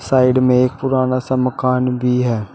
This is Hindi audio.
साइड में एक पुराना सा मकान भी है।